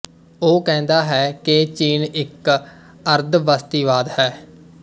ਉਹ ਕਹਿੰਦਾ ਹੈ ਕਿ ਚੀਨ ਇੱਕ ਅਰਧਬਸਤੀਵਾਦ ਹੈ